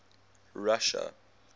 russia